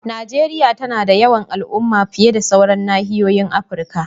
Najeriya tana da yawan al'umma fiye da sauran nahiyoyin Afirka.